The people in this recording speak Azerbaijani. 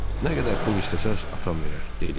"Nə qədər pul istəsəniz, atam verər", dedi.